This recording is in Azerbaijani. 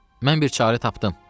Mən bir çarə tapdım.